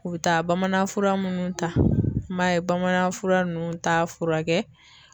U bɛ taa bamanan fura munnu ta, an b'a ye bamanan fura nunnu ta furakɛ.